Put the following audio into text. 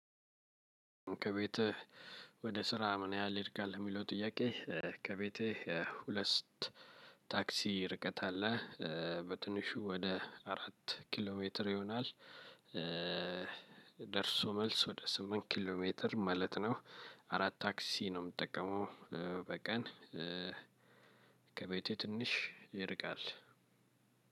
ከቤትህ ወደ ስራ ምን ያህል ይርቃል ለሚለው ጥያቄ? ከቤቴ ሁለስት ታክሲ ርቀት አለ በትንሹ ወደ አራት ኪሎ ሜትር ይሆናል። ደርሶ መልስ ወደ ስምንት ኪሎ ሜትር ማለት ነው። አራት ታክሲ ነው የምጠቀመው በቀን። ከቤቴ ትንሽ ይርቃል።